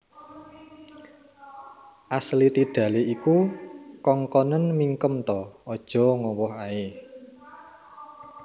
Ashley Tidale iku kongkonen mingkem ta ojok ngowoh ae